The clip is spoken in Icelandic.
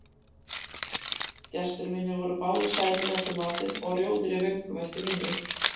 Gestir mínir voru báðir sælir eftir matinn og rjóðir í vöngum eftir vínið.